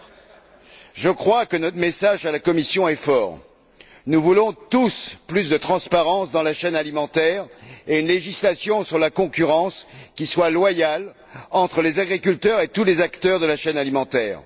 4. Je crois que notre message à la Commission est fort nous voulons tous plus de transparence dans la chaîne alimentaire et une législation qui garantisse une concurrence loyale entre les agriculteurs et tous les acteurs de la chaîne alimentaire.